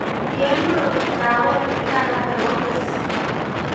kianyoru mkawet ne kararan nebo Meksiko